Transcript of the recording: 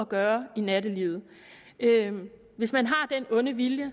gøre i nattelivet hvis man har den onde vilje